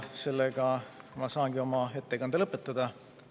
Sellega ma saangi oma ettekande lõpetada.